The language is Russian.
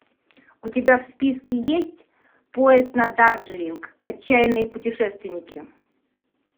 у тебя в списке есть поезд на дарджилинг отчаянные путешественники